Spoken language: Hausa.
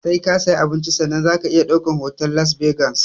Sai ka sayi abinci sannan zaka iya ɗaukar hoto a las vegas